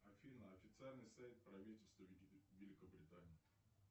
афина официальный сайт правительства великобритании